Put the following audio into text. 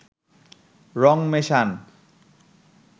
রং মেশান